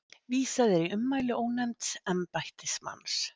Vísað er í ummæli ónefnds embættismanns